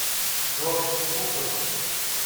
джордж лукас